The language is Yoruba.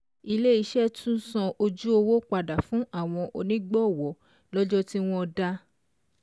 Ilé iṣẹ́ tún san ojú owó padà fún àwọn onígbọ̀wọ́ lọ́jọ́ tí wọ́n dá.